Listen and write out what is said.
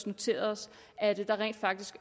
noteret os at der rent faktisk